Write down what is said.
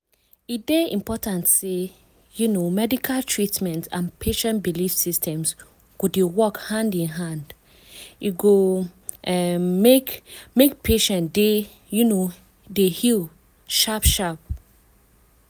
e dey important say um medical treatment and patient belief systems go dey work hand in hand e go um make make patient dey um heal sharp sharp.